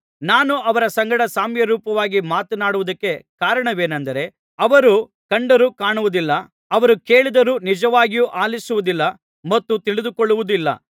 ನಾನು ಅವರ ಸಂಗಡ ಸಾಮ್ಯರೂಪವಾಗಿ ಮಾತನಾಡುವುದಕ್ಕೆ ಕಾರಣವೇನೆಂದರೆ ಅವರು ಕಂಡರೂ ಕಾಣುವುದಿಲ್ಲ ಅವರು ಕೇಳಿದರೂ ನಿಜವಾಗಿಯೂ ಆಲಿಸುವುದಿಲ್ಲ ಮತ್ತು ತಿಳಿದುಕೊಳ್ಳುವುದಿಲ್ಲ